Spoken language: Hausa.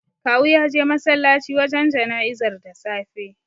Kawu ya je masallaci wajen jana'izar da safe.